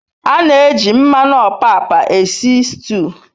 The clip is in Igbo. A n'eji mmanu opapa esi stu